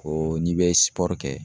Ko n'i bɛ kɛ